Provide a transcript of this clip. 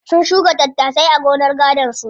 Sun shuka tattasai a gonar gadon su.